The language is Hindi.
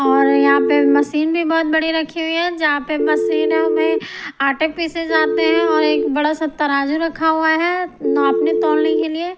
और यहां पे मशीन भी बहुत बड़ी रखी हुई है जहां पे मशीनों में आटे पीसे जाते हैं और एक बड़ा सा तराजू रखा हुआ है नापने तोलने के लिए।